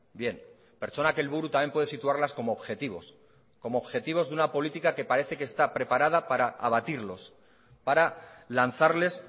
bien pertsonak helburu también puede situarlas como objetivos como objetivos de una política que parece que está preparada para abatirlos para lanzarles